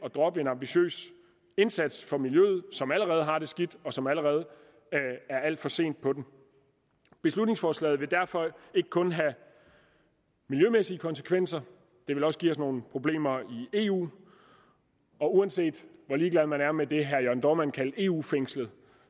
at droppe en ambitiøs indsats for miljøet som allerede har det skidt en indsats som allerede er alt for sent på den beslutningsforslaget vil derfor ikke kun have miljømæssige konsekvenser det vil også give os nogle problemer i eu og uanset hvor ligeglad man er med det herre jørn dohrmann kaldte eu fængslet